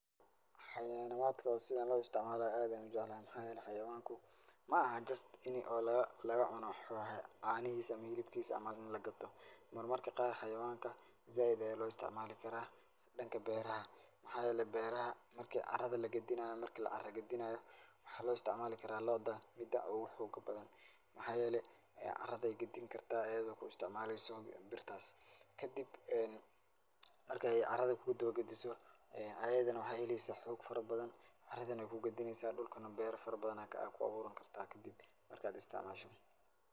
Xayawaanaatka sida loo istacmaalo aad ayaan u jeclahay. Maxaa yeelay xayawaanku ma'ahan just in oo laga laga cuno caanihiisa ama hilibkiisa ama in lagato. Mar marka qaar xayawanka zaaid ayaa loo isticmaali karaa dhanka beeraha. Maxaa yeelay beeraha marki carada lagedinaayo marki la cara gedinaayo waxaa loo istacmaali karaa lo'da mida ugu xooga badan. Maxaa yeelay caraday gedin kartaa ayidoo ku istacmaalayso birtaas. Kadib marka ay carada kuu daba gediso ayidana waxaay helaysaa xoog farabadan, aradana waay kuu gedinaysa, dhulkana beero farabadan ay ku abuuran kartaa kadib marka aad istacmaashid.